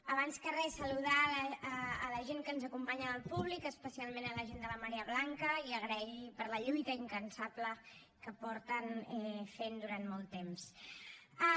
abans que res saludar la gent que ens acompanya en el públic especialment la gent de la marea blanca i donar los les gràcies per la lluita incansable que fa molt temps que fan